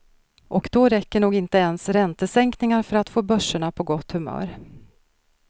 Och då räcker nog inte ens räntesänkningar för att få börserna på gott humör.